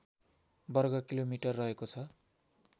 वर्गकिलोमिटर रहेको छ